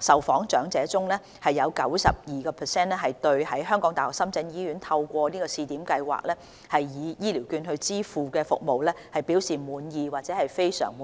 受訪長者中，有 92% 對在港大深圳醫院透過試點計劃以醫療券支付的服務表示滿意或非常滿意。